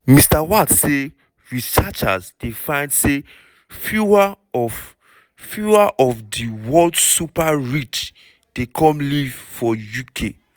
mr watts say researchers find say fewer "of fewer "of di world super rich dey come live for uk."